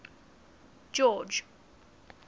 george